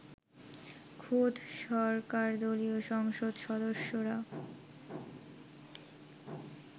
খোদ সরকারদলীয় সংসদ সদস্যরা